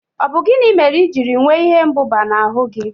Ọ bụ gịnị mere ijiri nwee ihe mbụba na ahụ gị?